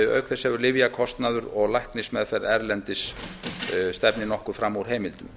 auk þess stefna lyfjakostnaður og læknismeðferð erlendis nokkuð fram úr heimildum